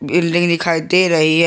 Building दिखाई दे रही है।